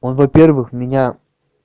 он во-первых меня